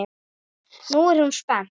Nú er hún spennt.